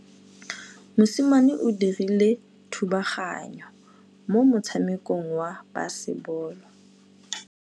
Mosimane o dirile thubaganyô mo motshamekong wa basebôlô.